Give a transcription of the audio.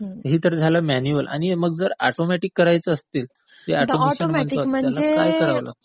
हे तर झालं मॅन्युअल. मग जर ऑटोमॅटिक करायचे असतील जे ऑटोमेशन म्हणतात त्याला काय करावं लागतं?